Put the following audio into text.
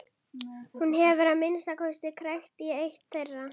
Hún hefur að minnsta kosti krækt í eitt þeirra.